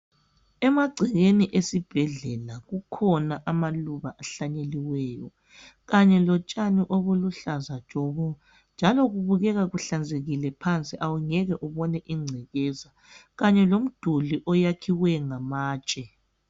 Emagcekeni esibhedlela kukhona amaluba ahlanyeliweyo kanye lotshani obuluhlaza tshoko njalo kubukeka kuhlanzekile phansi awungeke ubone ingcekeza kanye lomduli oyakhiweyo ngamatshe.